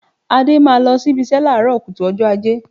Adé máa lọ síbi ìṣe láàárọ̀ kùtù ọjọ́ Ajé